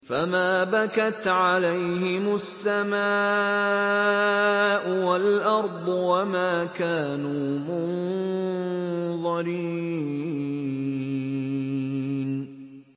فَمَا بَكَتْ عَلَيْهِمُ السَّمَاءُ وَالْأَرْضُ وَمَا كَانُوا مُنظَرِينَ